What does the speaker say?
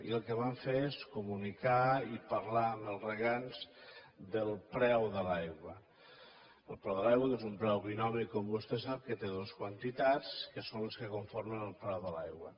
i el que vam fer és comunicar i parlar amb els regants del preu de l’aigua del preu de l’aigua que és un preu binomi com vostè sap que té dos quantitats que són les que conformen el preu de l’aigua